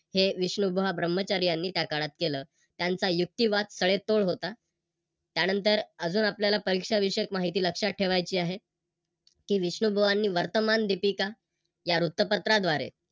हे विष्णुबुवा ब्रह्मचारी यांनी त्या काळात केल. त्यांचा युक्तिवाद तडेतोड होता. त्यानंतर अजून आपल्याला परीक्षा विषयक माहिती लक्षात ठेवायची आहे. कि विष्णुबुआ यांनी वर्तमान दिपिका या वृत्तपत्राद्वारे